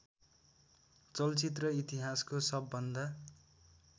चलचित्र इतिहासको सबभन्दा